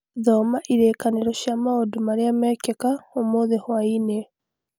Thoma ĩririkanio cia maũndũ marĩa mekĩka ũmũthĩ hwaĩ-inĩ